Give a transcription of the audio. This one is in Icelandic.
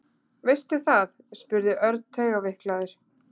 Veistu það? spurði Örn taugaveiklaður.